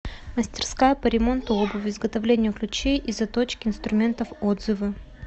мастерская по ремонту обуви изготовлению ключей и заточке инструментов отзывы